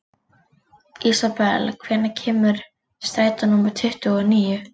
Ísabel, hvenær kemur strætó númer tuttugu og níu?